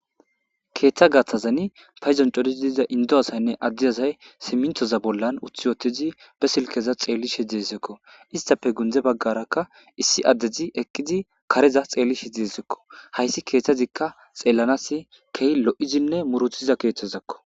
Ketha gathazan paydon darid diza Indo asayinne Ade asay simintoza bolla uti utid be silkeza xelishe duzysako istappe gunde bagarako issi adez eqid kareza xelishe desko . Hays kwthazika xelanas keh lo'idinne murutiza kethzako